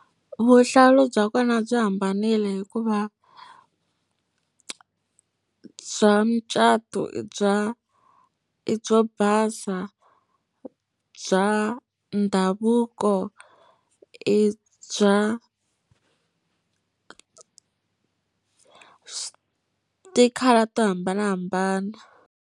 Vuhlalu bya kona byi hambanile hikuva bya mucato i bya i byo basa, bya ndhavuko i bya ti-colour to hambanahambana.